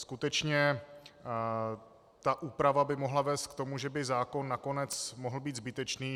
Skutečně, ta úprava by mohla vést k tomu, že by zákon nakonec mohl být zbytečný.